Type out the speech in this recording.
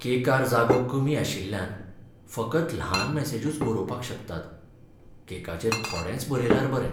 केकार जागो कमी आशिल्ल्यान फकत ल्हान मॅसेजूच बरोवपाक शकतात. केकाचेर थोडेंच बरयल्यार बरें.